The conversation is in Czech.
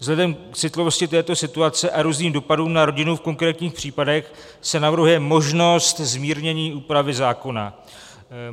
Vzhledem k citlivosti této situace a různým dopadům na rodinu v konkrétních případech, se navrhuje možnost zmírnění úpravy zákona.